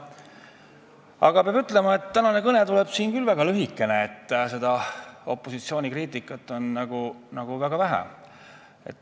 Aga peab ütlema, et tänane kõne tuleb küll väga lühikene, sest opositsiooni kriitikat on väga vähe.